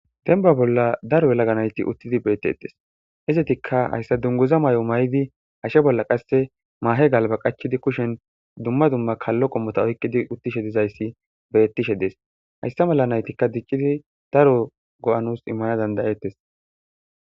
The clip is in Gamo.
Denba bolla daro elaga nayti uttidi bettettes hizetikka hayssa dunguza may7o may7di hashe bolla qasse maahe galba qachidi kushen dumma dumma kallo qommota oykkidi uttishe dizayssi bettishe dees hayssa mala naytikka diccidi daro go7anus immana dandayettes.